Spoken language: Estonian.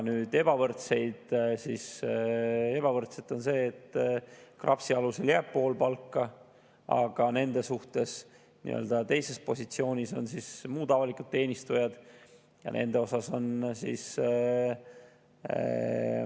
Ebavõrdseid kohtleme ebavõrdselt – see tähendab seda, et KRAPS-i alusel jääb pool palga, aga muud avalikud teenistujad on nende suhtes teises positsioonis.